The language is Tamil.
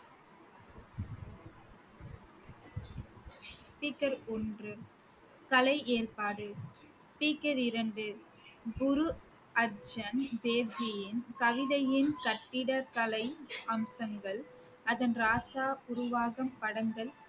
speaker ஒன்று கலை ஏற்பாடு speaker இரண்டு, குரு அர்ஜூன் தேவ்ஜியின் கவிதையின் கட்டிடக்கலை அம்சங்கள் அதன் ராசா உருவாகும் படங்கள்